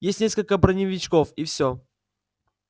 есть несколько броневичков и все